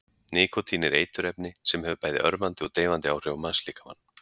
Nikótín er eiturefni sem hefur bæði örvandi og deyfandi áhrif á mannslíkamann.